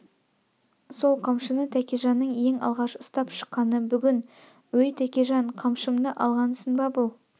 сол қамшыны тәкежанның ең алғаш ұстап шыққаны бүгін өй тәкежан қамшымны алғансын ба бұл